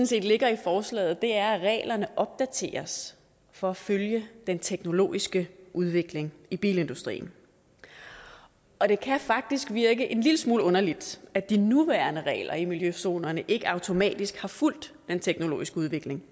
set ligger i forslaget er at reglerne opdateres for at følge den teknologiske udvikling i bilindustrien og det kan faktisk virke en lille smule underligt at de nuværende regler i miljøzonerne ikke automatisk har fulgt den teknologiske udvikling